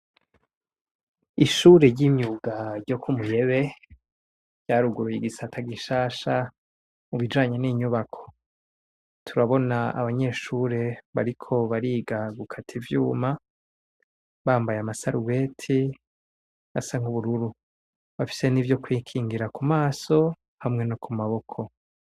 Ishure ry'imwuga ryo kumuyebe rya ruguruye igisata gishasha mubijanye n'inyubako, turabona abanyeshure bariko bariga gukata ivyuma bambaye amasarubeti asa nk'ubururu bafise n'ivyo kwikingira kumaso hamwe no kumaboko.